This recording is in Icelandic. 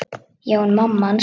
Já, en mamma hans.